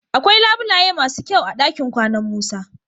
Akwai labulaye masu kyau a dakin kwanan Musa.